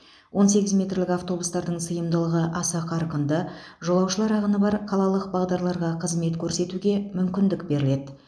он сегіз метрлік автобустардың сыйымдылығы аса қарқынды жолаушылар ағыны бар қалалық бағдарларға қызмет көрсетуге мүмкіндік беріледі